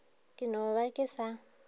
ke no ba ke sa